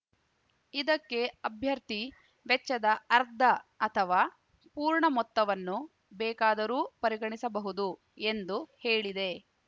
ಇದಕ್ಕೆ ಅಭ್ಯರ್ಥಿ ವೆಚ್ಚದ ಅರ್ಧ ಅಥವಾ ಪೂರ್ಣ ಮೊತ್ತವನ್ನು ಬೇಕಾದರೂ ಪರಿಗಣಿಸಬಹುದು ಎಂದು ಹೇಳಿದೆ